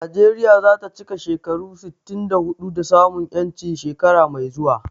Najeriya za ta cika shekaru sittin da huɗu da samun 'yanci shekara mai zuwa.